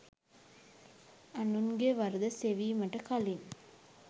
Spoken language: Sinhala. අනුන්ගේ වරද සෙවීමට කළින්